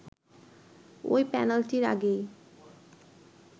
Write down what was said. ওই পেনাল্টির আগে